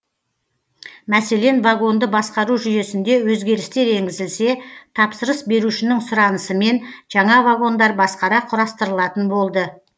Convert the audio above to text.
мәселен вагонды басқару жүйесінде өзгерістер енгізілсе тапсырыс берушінің сұранысымен жаңа вагондар басқара құрастырылатын болды